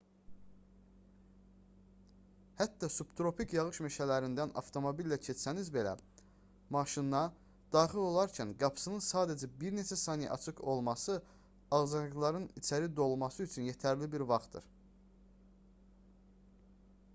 hətta subtropik yağış meşələrindən avtomobillə keçsəniz belə maşına daxil olarkən qapısının sadəcə bir neçə saniyə açıq olması ağcaqanadların içəri dolması üçün yetərli bir vaxtdır